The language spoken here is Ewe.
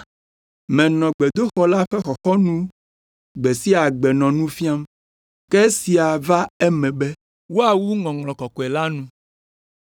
Menɔ gbedoxɔ la ƒe xɔxɔnu gbe sia gbe nɔ nu fiam. Ke esia va eme be woawu Ŋɔŋlɔ Kɔkɔe la nu.”